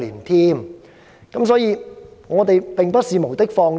由此可見，我們並不是無的放矢。